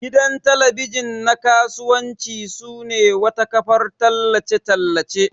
Gidan talabijin na kasuwanci sune wata kafar tallace tallace.